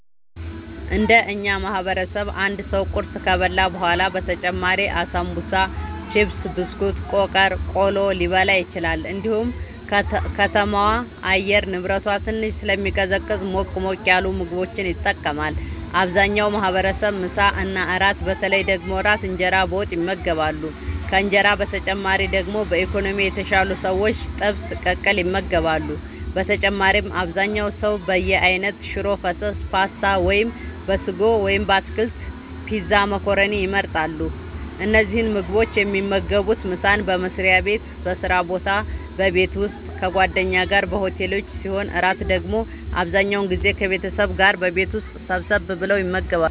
እንደ እኛ ማህበረሰብ አንድ ሰው ቁርስ ከበላ በኋላ በተጨማሪም አሳንቡሳ ቺፕስ ብስኩት ቆቀር ቆሎ ሊበላ ይችላል እንዲሁም ከተማዋ የአየር ንብረቷ ትንሽ ስለሚቀዘቅዝ ሞቅ ሞቅ ያሉ ምግቦችን ይጠቀማሉ አብዛኛው ማህበረሰብ ምሳ እና እራት በተለይ ደግሞ እራት እንጀራ በወጥ ይመገባሉ ከእንጀራ በተጨማሪ ደግሞ በኢኮኖሚ የተሻሉ ሰዎች ጥብስ ቅቅል ይመገባሉ በተጨማሪም አብዛኛው ሰው በየአይነት ሽሮ ፈሰስ ፓስታ(በስጎ ወይም በአትክልት) ፒዛ መኮረኒን ይመርጣሉ። እነዚህን ምግቦች የሚመገቡት ምሳን በመስሪያ ቤት በስራ ቦታ በቤት ውስጥ ከጓደኛ ጋር በሆቴሎች ሲሆን እራት ደግሞ አብዛኛውን ጊዜ ከቤተሰብ ጋር በቤት ውስጥ ሰብሰብ ብለው ይመገባሉ።